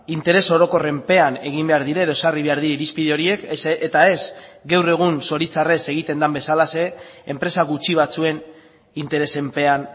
interes orokorrenpean egin behar dira edo ezarri behar dira irizpide horiek eta ez gaur egun zoritzarrez egiten den bezalaxe enpresa gutxi batzuen interesenpean